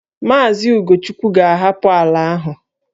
Maazị Ugochukwu ga-ahapụ ala ahụ